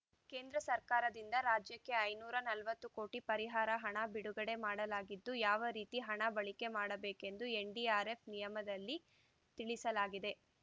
ಕೇಂದ್ರ ಸರ್ಕಾರದಿಂದ ರಾಜ್ಯಕ್ಕೆ ಐನೂರ ನಲವತ್ತು ಕೋಟಿ ಪರಿಹಾರ ಹಣ ಬಿಡುಗಡೆ ಮಾಡಲಾಗಿದ್ದು ಯಾವ ರೀತಿ ಹಣ ಬಳಕೆ ಮಾಡಬೇಕೆಂದು ಎನ್‌ಡಿಆರ್‌ಎಫ್‌ ನಿಯಮದಲ್ಲಿ ತಿಳಿಸಲಾಗಿದೆ